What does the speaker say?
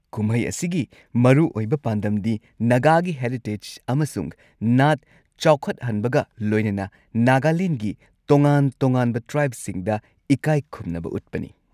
ꯀꯨꯝꯍꯩ ꯑꯁꯤꯒꯤ ꯃꯔꯨꯑꯣꯏꯕ ꯄꯥꯟꯗꯝꯗꯤ ꯅꯥꯒꯥꯒꯤ ꯍꯦꯔꯤꯇꯦꯖ ꯑꯃꯁꯨꯡ ꯅꯥꯠ ꯆꯥꯎꯈꯠꯍꯟꯕꯒ ꯂꯣꯏꯅꯅ ꯅꯥꯒꯥꯂꯦꯟꯒꯤ ꯇꯣꯉꯥꯟ-ꯇꯣꯉꯥꯟꯕ ꯇ꯭ꯔꯥꯏꯕꯁꯤꯡꯗ ꯏꯀꯥꯏꯈꯨꯝꯅꯕ ꯎꯠꯄꯅꯤ꯫